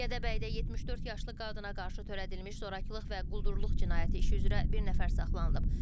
Gədəbəydə 74 yaşlı qadına qarşı törədilmiş zorakılıq və quldurluq cinayəti işi üzrə bir nəfər saxlanılıb.